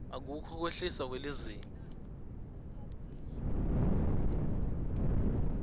akukho kwehliswa kwelizinga